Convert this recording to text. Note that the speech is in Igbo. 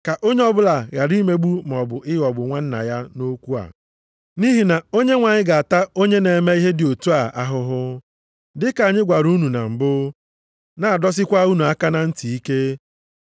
Ka onye ọbụla ghara imegbu maọbụ ịghọgbu nwanna ya nʼokwu a. Nʼihi na Onyenwe anyị ga-ata onye na-eme ihe dị otu a ahụhụ, dị ka anyị gwara unu na mbụ, na-adọsikwa unu aka na ntị ike.